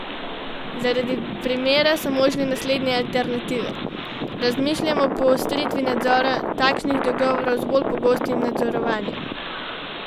Zaradi nastalega primera so možne naslednje alternative: 'Razmišljam o poostritvah nadzora takšnih dogovorov z bolj pogostim nadzorovanjem.